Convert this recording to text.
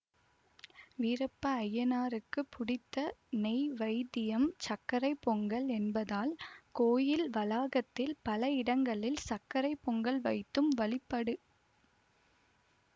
வீரப்ப அய்யனாருக்குப் புடித்த நைவேத்தியம் சர்க்கரை பொங்கல் என்பதால் கோயில் வளாகத்தில் பல இடங்களில் சர்க்கரை பொங்கல் வைத்தும் வழிபடு